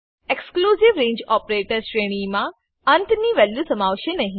exclusive range operator શ્રેણીમા અંત ની વેલ્યુ સમાવશે નહી